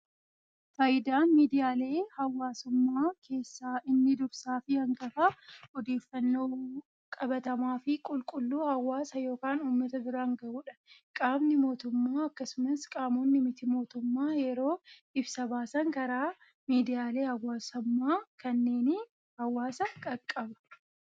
Fayidaan miidiyaalee hawaasummaa keessa inni dursaa fi hangafaa, odeeffannoo qabatamaa fi qulqulluu hawaasa yookaan uummata biraan gahuudha. Qaamni mootummaa akkasumas qaamonni miti mootummaa yeroo ibsa baasan karaa miidiyaalee hawaasummaa kanneeniin hawaasa qaqqaba.